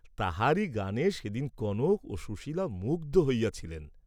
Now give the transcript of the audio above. তাহারই গানে সেদিন কনক ও সুশীলা মুগ্ধ হইয়াছিলেন।